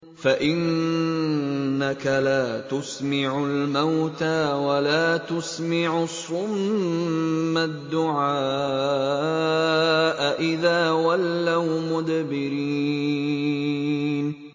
فَإِنَّكَ لَا تُسْمِعُ الْمَوْتَىٰ وَلَا تُسْمِعُ الصُّمَّ الدُّعَاءَ إِذَا وَلَّوْا مُدْبِرِينَ